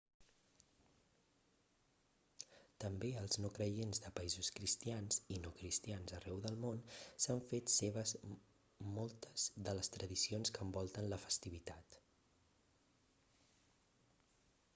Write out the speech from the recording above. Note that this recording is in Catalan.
també els no-creients de països cristians i no-cristians arreu del món s'han fet seves moltes de les tradicions que envolten la festivitat